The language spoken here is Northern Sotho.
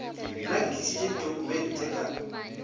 nna ke tlišitše ditokumente ka